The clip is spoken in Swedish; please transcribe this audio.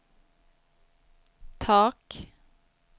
tak